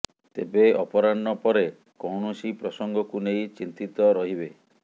ତେବେ ଅପରାହ୍ନ ପରେ କୌଣସି ପ୍ରସଙ୍ଗକୁ ନେଇ ଚିନ୍ତିତ ରହିବେ